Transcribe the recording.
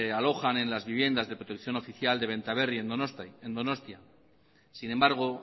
alojan en las viviendas de protección oficial de benta berri en donostia sin embargo